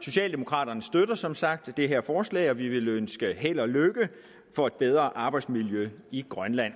socialdemokraterne støtter som sagt det her forslag og vi vil ønske held og lykke for et bedre arbejdsmiljø i grønland